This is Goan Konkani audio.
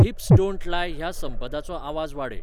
हिपस डोन्ट लाय ह्या संपदाचो आवाज वाडय